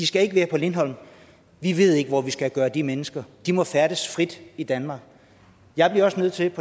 skal være på lindholm vi ved ikke hvor vi skal gøre af de mennesker de må færdes frit i danmark jeg bliver også nødt til